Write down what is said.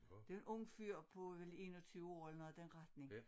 Det en ung fyr på vel 21 år eller noget i den retning